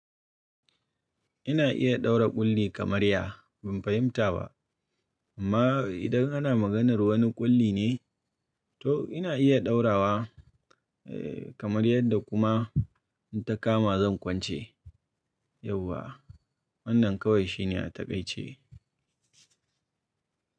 Ina iya ɗaura ƙulli kamar ya, ban fahimta ba. Amma idan ana maganar wani ƙulli ne to ina iya ɗaurawa kamar yadda kuma in ta kama zan kwance yauwa. Wannan kawai shine a taƙaice.